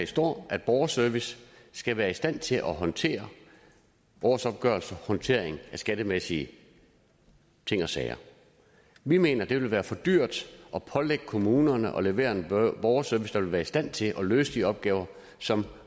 står at borgerservice skal være i stand til at håndtere årsopgørelser og skattemæssige ting og sager vi mener at det vil være for dyrt at pålægge kommunerne at levere en borgerservice der vil være i stand til at løse de opgaver som